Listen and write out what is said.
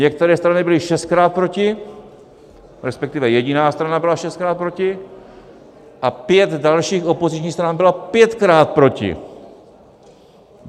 Některé strany byly šestkrát proti, respektive jediná strana byla šestkrát proti a pět dalších opozičních stran bylo pětkrát proti.